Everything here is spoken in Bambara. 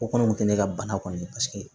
O kɔni kun tɛ ne ka bana kɔni ye paseke